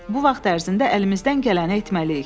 Bu vaxt ərzində əlimizdən gələni etməliyik.